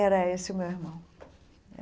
Era esse o meu irmão.